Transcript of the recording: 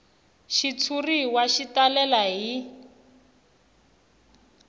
xitshuriwa xi talele hi